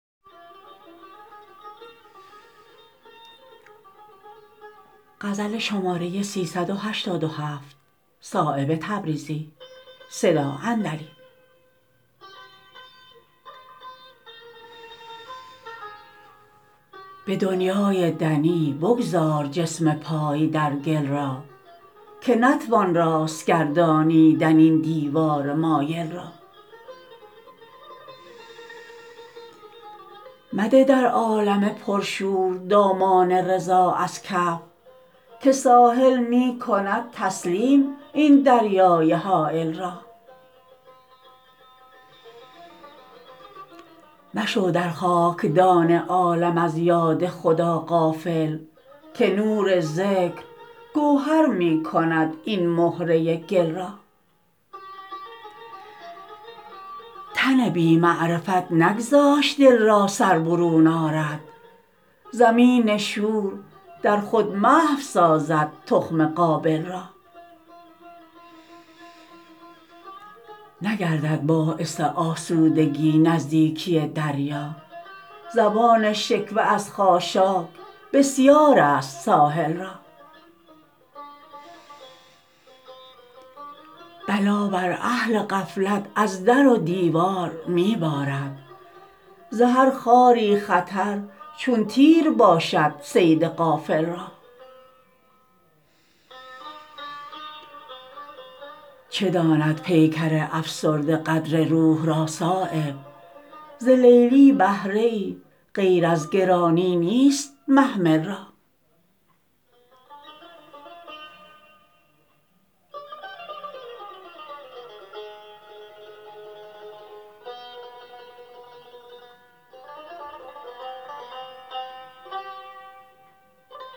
به دنیای دنی بگذار جسم پای در گل را که نتوان راست گردانیدن این دیوار مایل را مده در عالم پرشور دامان رضا از کف که ساحل می کند تسلیم این دریای هایل را مشو در خاکدان عالم از یاد خدا غافل که نور ذکر گوهر می کند این مهره گل را تن بی معرفت نگذاشت دل را سر برون آرد زمین شور در خود محو سازد تخم قابل را نگردد باعث آسودگی نزدیکی دریا زبان شکوه از خاشاک بسیارست ساحل را بلا بر اهل غفلت از در و دیوار می بارد ز هر خاری خطر چون تیر باشد صید غافل را چه داند پیکر افسرده قدر روح را صایب ز لیلی بهره ای غیر از گرانی نیست محمل را